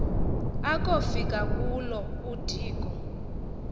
akofika kulo udiko